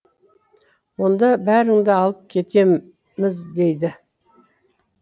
онда бәріңді алып кетеміз дейді